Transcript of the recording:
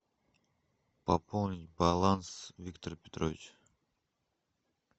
пополнить баланс виктор петрович